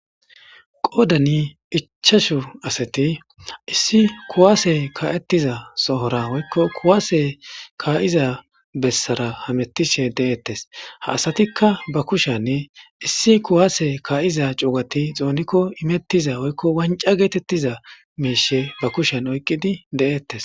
qoodani ichashu asati issi kuwaase ka7ettiza sohora woykko kuwaase kaa7iza bessara hamettishe de7eettes ha asatikka ba kushanne issi kuwaase ka7iza cuugati xoonikko imettiza woykko wanca geetettiza miishe ba kushen oyqqidi de7ettes